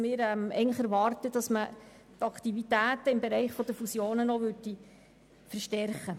Wir erwarten, dass man die Aktivität im Bereich Fusionen noch verstärkt.